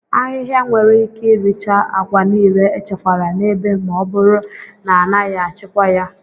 Ahịhịa nwere ike iricha agwa niile echekwara n'ebe ma ọ bụrụ na a naghị achịkwa ya.